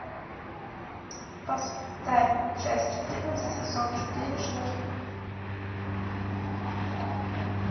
поставь часть четырнадцать сезон четыре шерлок